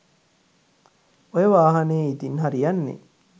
ඔය වාහනේ ඉතින් හරි යන්නේ